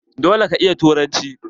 Dole ka iya yaren turanci!